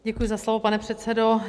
Děkuji za slovo, pane předsedo.